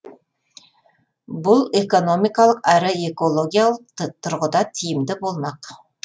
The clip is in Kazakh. бұл экономикалық әрі экологиялық тұрғыда тиімді болмақ